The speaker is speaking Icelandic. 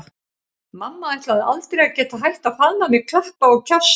Mamma ætlaði aldrei að geta hætt að faðma mig, klappa og kjassa.